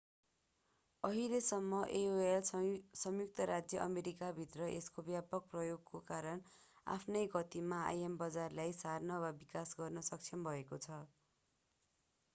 अहिलेसम्म aol संयुक्त राज्य अमेरिकाभित्र यसको व्यापक प्रयोगको कारण आफ्नै गतिमा im बजारलाई सार्न र विकास गर्न सक्षम भएको छ